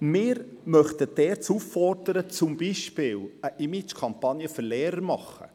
Wir möchten die ERZ auffordern, zum Beispiel eine Imagekampagne für Lehrer zu machen.